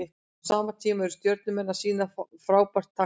Á sama tíma eru Stjörnumenn að sýna frábæra takta.